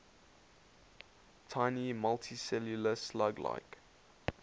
tiny multicellular slug like